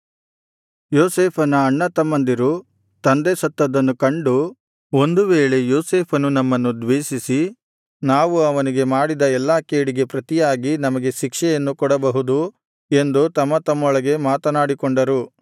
ಯೋಸೇಫನ ಅಣ್ಣತಮ್ಮಂದಿರು ತಂದೆ ಸತ್ತದ್ದನ್ನು ಕಂಡು ಒಂದು ವೇಳೆ ಯೋಸೇಫನು ನಮ್ಮನ್ನು ದ್ವೇಷಿಸಿ ನಾವು ಅವನಿಗೆ ಮಾಡಿದ ಎಲ್ಲಾ ಕೇಡಿಗೆ ಪ್ರತಿಯಾಗಿ ನಮಗೆ ಶಿಕ್ಷೆಯನ್ನು ಕೊಡಬಹುದು ಎಂದು ತಮ್ಮತಮ್ಮೊಳಗೆ ಮಾತನಾಡಿಕೊಂಡರು